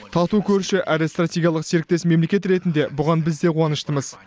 тату көрші әрі стратегиялық серіктес мемлекет ретінде бұған біз де қуаныштымыз